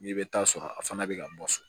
N'i bɛ taa sɔrɔ a fana bɛ ka bɔ so